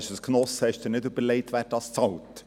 Sie haben sich nicht überlegt, wer dafür zahlt.